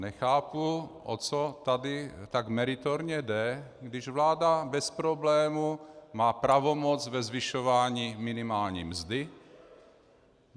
Nechápu, o co tady tak meritorně jde, když vláda bez problému má pravomoc ve zvyšování minimální mzdy.